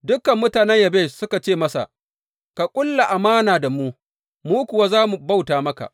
Dukan mutanen Yabesh suka ce masa, Ka ƙulla amana da mu, mu kuwa za mu bauta maka.